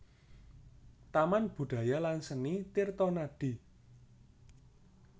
Taman Budaya lan Seni Tirtonadi